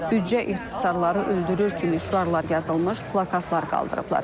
Büdcə ixtisarları öldürür kimi şüarlar yazılmış plakatlar qaldırıblar.